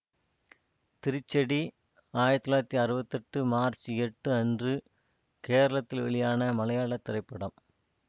திரிச்சடி ஆயிரத்தி தொள்ளாயிரத்தி அறுபத்தி எட்டு மார்ச் எட்டு அன்று கேரளத்தில் வெளியான மலையாள திரைப்படம்